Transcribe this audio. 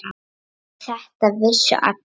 Og þetta vissu allir.